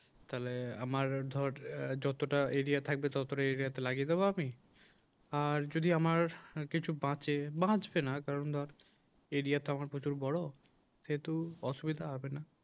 তাহলে আমার ধর যতটা এরিয়া থাকবে ততটাই এরিয়াতে লাগিয়ে দেবো আমি আর যদি আমার কিছু বাঁচে বাঁচবে না কারণ ধর এরিয়াটা আমার প্রচুর বড় যেহেতু অসুবিধা হবেনা